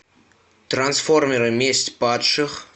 трансформеры месть падших